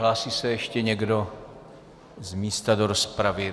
Hlásí se ještě někdo z místa do rozpravy?